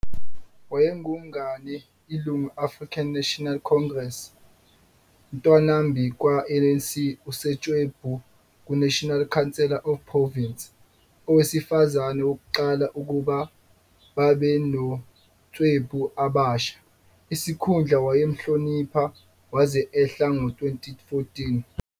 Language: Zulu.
Wayengumngane ilungu -African National Congress, Ntwanambi kwaba-ANC USotswebhu ku kuNational Council of Provinces, owesifazane wokuqala ukuba babe noSotswebhu abasha, isikhundla wayemhlonipha waze ehla ngo 2014.